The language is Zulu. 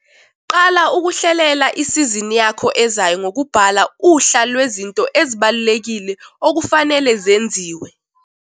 Qala ukuhlelela isizini yakho ezayo ngokubhala uhla lwezinto ezibalulekile okufanele zenziwe.